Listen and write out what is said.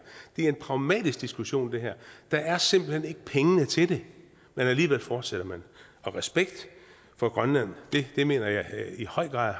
er en pragmatisk diskussion der er simpelt hen ikke pengene til det men alligevel fortsætter man respekt for grønland mener jeg i høj grad